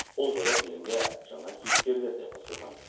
бұл жолы фильмге жаңа кейіпкерлер де қосылған